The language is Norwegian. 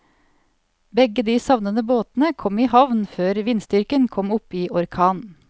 Begge de savnede båtene kom i havn før vindstyrken kom opp i orkan.